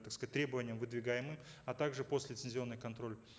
так сказать требованиям выдвигаемым а также постлицензионный контроль